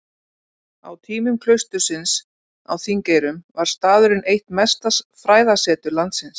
Á tímum klaustursins á Þingeyrum var staðurinn eitt mesta fræðasetur landsins.